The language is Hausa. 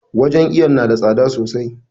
Wajen iwon na da tsada sosai.